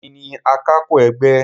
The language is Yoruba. Èmi ni akapo ẹgbẹ́.